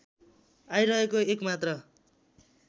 आइरहेको एक मात्र